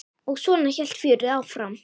Og svona hélt fjörið áfram.